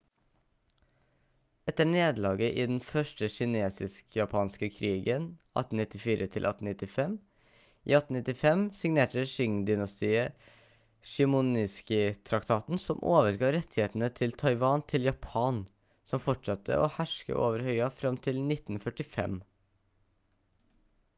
etter nederlaget i den første kinesisk-japanske krigen 1894-1895 i 1895 signerte qing-dynastiet shimonoseki-traktaten som overga rettighetene til taiwan til japan som fortsatte å herske over øya fram til 1945